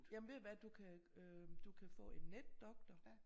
Jamen ved du hvad du kan øh du kan få en netdoktor